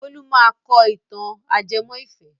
Bólú máa kọ ìtàn ajẹmọ́ ìfẹ́.